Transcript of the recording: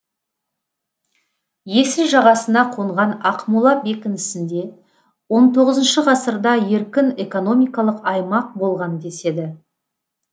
есіл жағасына қонған ақмола бекінісінде он тоғызыншы ғасырда еркін экономикалық аймақ болған деседі